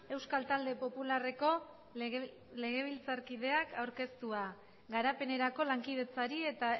euskal talde popularreko legebiltzarkideak aurkeztua garapenerako lankidetzari eta